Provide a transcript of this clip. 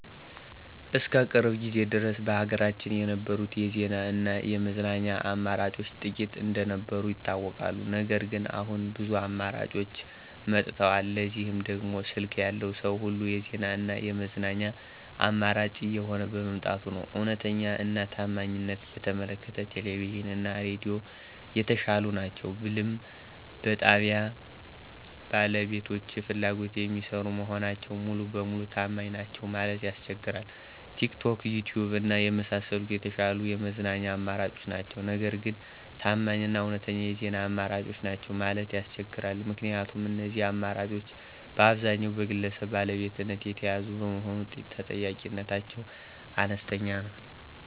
እስከ ቅርብ ጊዜ ድረስ በሀገራችን የነበሩት የዜና እና የመዝናኛ አማራጮች ጥቂት እንደነበሩ ይታወቃል። ነገር ግን አሁን ብዙ አማራጮች መጥተዋል። ለዚህም ደግሞ ስልክ ያለው ሰዉ ሁሉ የዜና እና የመዝናኛ አማራጭ እየሆነ በመምጣቱ ነዉ። እዉነተኛ እና ታማኝነትን በተመለከተ ቴሌቪዥን እና ሬዲዮ የተሻሉ ናቸው ብልም በጣብያዉ ባለቤቶች ፍላጎት የሚሰሩ መሆናቸው ሙሉ ለሙሉ ታማኝ ናቸዉ ለማለት ያስቸግራል። ቲክቶክ፣ ዪትዪብ እና የመሳሰሉት የተሻሉ የመዝናኛ አማራጮች ናቸው። ነገር ግን ታማኝ እና እዉነተኛ የዜና አማራጮች ናቸው ማለት ያስቸግራል። ምክንያቱም እነዚህ አማራጮች በአብዛኛዉ በግለሰብ ባለቤትነት የተያዙ በመሆኑ ተጠያቂነታቸው አነስተኛ ነዉ።